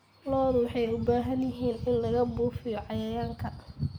Lo'da waxay u baahan yihiin in lagu buufiyo cayayaanka.